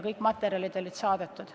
Kõik materjalid olid saadetud.